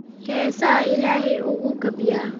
Heesaha Ilaahay ugu gabya